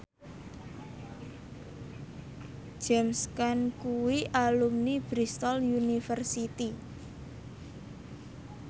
James Caan kuwi alumni Bristol university